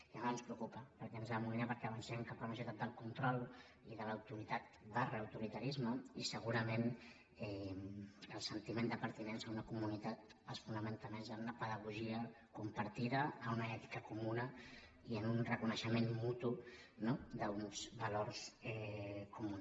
llavors ens preocupa perquè ens amoïna perquè avancem cap a una societat del control i de l’autoritat autoritarisme i segurament el sentiment de pertinença a una comunitat es fonamenta més en una pedagogia compartida en una ètica comuna i en un reconeixement mutu no d’uns valors comuns